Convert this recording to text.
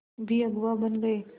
भी अगुवा बन गए